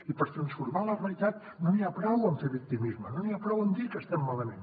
i per transformar la realitat no n’hi ha prou amb fer victimisme no n’hi ha prou amb dir que estem malament